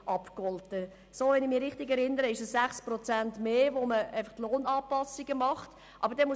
Wenn ich mich richtig erinnere, nimmt man dabei Lohnanpassungen von zusätzlich 6 Prozent vor.